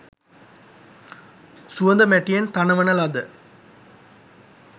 සුවඳ මැටියෙන් තනවන ලද